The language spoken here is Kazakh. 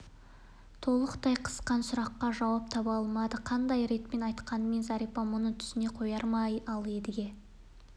толғақтай қысқан сұраққа жауап таба алмады қандай ретпен айтқанмен зәрипа мұны түсіне қояр ма ал едіге